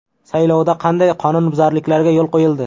Saylovda qanday qonunbuzarliklarga yo‘l qo‘yildi?